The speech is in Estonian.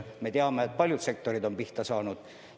Me teame, et paljud sektorid on pihta saanud.